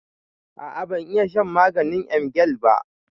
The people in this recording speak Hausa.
A'a bazan iya shan maganin emgyl ba.